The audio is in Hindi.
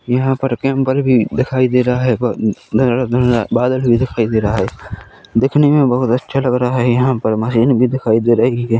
यहाँ पर भी दिखाई दे रहा हैं ब घना-घना बादल भी दिखाई दे रहा हैं दिखने मे बहुत अच्छा लग रहा हैं यहाँ पर मशीन भी दिखाई दे रही हैं।